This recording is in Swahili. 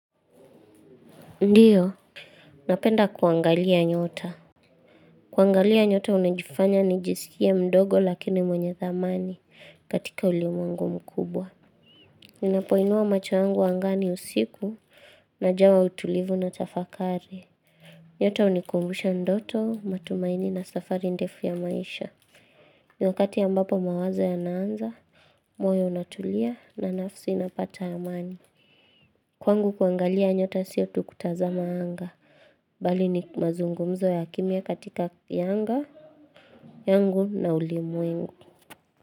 Ndiyo, napenda kuangalia nyota. Kuangalia nyota unajifanya nijisikie mdogo lakini mwenye thamani katika ulimwengu mkubwa. Ninapoinua macho yangu angani usiku najawa utulivu na tafakari. Nyota hunikumbusha ndoto, matumaini na safari ndefu ya maisha. Ni wakati ambapo mawazo yanaanza, moyo unatulia na nafsi inapata amani. Kwangu kuangalia nyota sio tu kutazama anga, bali ni mazungumzo ya kimya katika ya anga, yangu na ulimwengu.